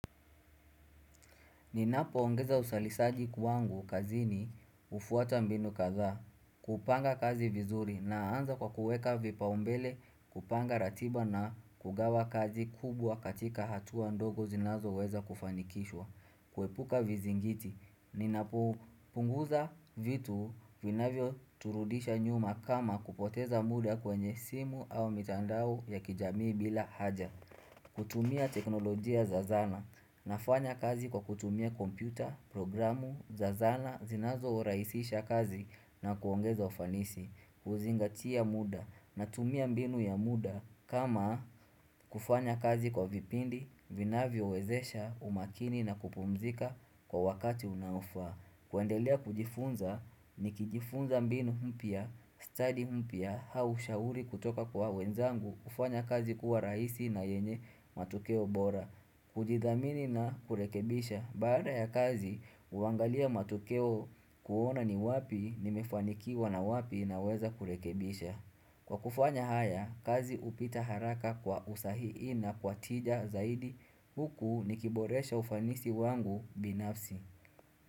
Ninapo ongeza usalisaji kwangu kazini hufuata mbinu kaza, kupanga kazi vizuri naanza kwa kuweka vipaumbele kupanga ratiba na kugawa kazi kubwa katika hatua ndogo zinazoweza kufanikishwa, kuepuka vizingiti. Ninapo punguza vitu vinavyo turudisha nyuma kama kupoteza muda kwenye simu au mitandao ya kijamii bila haja. Kutumia teknolojia za zana nafanya kazi kwa kutumia kompyuta, programu, za zana, zinazo rahisisha kazi na kuongeza ufanisi kuzingatia muda natumia mbinu ya muda kama kufanya kazi kwa vipindi, vinavyo wezesha, umakini na kupumzika kwa wakati unaofaa kuendelea kujifunza ni kijifunza mbinu mpya, study mpya, au shauri kutoka kwa wenzangu hufanya kazi kuwa rahisi na yenye matokeo bora kujithamini na kurekebisha, baada ya kazi huangalia matokeo kuona ni wapi nimefanikiwa na wapi naweza kurekebisha Kwa kufanya haya, kazi hupita haraka kwa usahihi na kwa tija zaidi huku nikiboresha ufanisi wangu binafsi.